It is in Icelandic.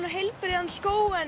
og heilbrigður skógur